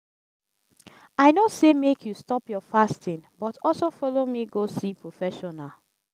i no say make you stop your fasting but also follow me go see professional